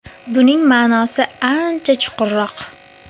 Buning ma’nosi ancha chuqurroq.